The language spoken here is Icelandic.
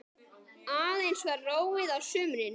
Aðeins var róið á sumrin.